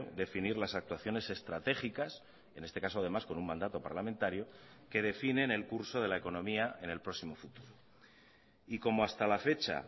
definir las actuaciones estratégicas en este caso además con un mandato parlamentario que definen el curso de la economía en el próximo futuro y como hasta la fecha